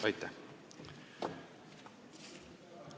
Aitäh!